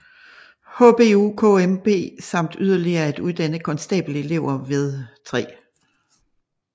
HBUKMP samt yderligere at uddanne konstabelelever ved 3